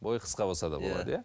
бойықысқа болса да болады иә